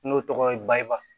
N'o tɔgɔ ye ba